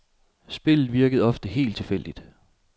Spillet virkede ofte helt tilfældigt.